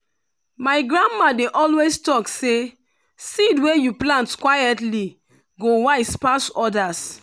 my grandma dey always talk say seed wey you plant quietly go wise pass others.